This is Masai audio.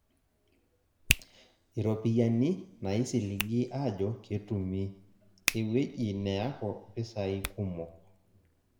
Iropiyiani naisiligi ajo ketumi, ewueji neaku mpisai kumok.